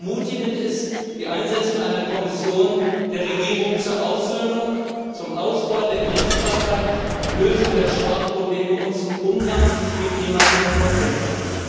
Ermutigend ist die Einsetzung einer Kommission der Regierung zur Aussöhnung, zum Ausbau der Gerichtsbarkeit, zur Lösung des Sprachenproblems und zum Umgang mit ehemaligen Frontkämpfern.